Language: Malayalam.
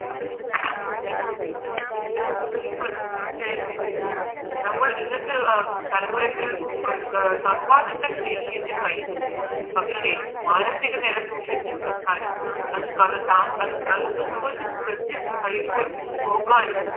അത് നീ പറഞ്ഞത് തീർച്ചയായും ശരിയാണ് നമ്മൾ ഇന്നത്തെ തലമുറയ്ക്ക് സമ്പാദിക്കാൻ ശേഷിയുണ്ട് കഴിവുണ്ട് പക്ഷേ മാനസിക നില സൂക്ഷിച്ച് വെക്കാനും അത്പോലെ ശ്രദ്ധിച്ച് നോക്കാനും